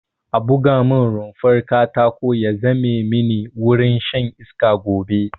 A buga mun rumfar katako ya zame mini wurin shan iska gobe